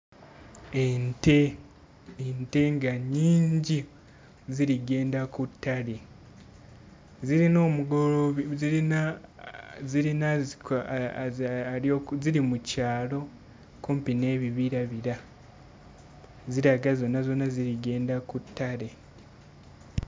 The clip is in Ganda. Ente ente nga nnyingi ziri ggenda ku ttale. Zirina omugoloobi zirina zirina azi ziri mu kyalo kumpi n'ebibirabira, ziraga zonna zonna ziri ggenda ku ttale.